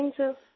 fine सिर